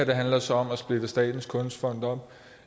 handler så om at splitte statens kunstfond op